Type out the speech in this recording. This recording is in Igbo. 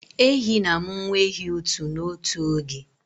Ehi na-amụ nwa ehi 1 n'otu oge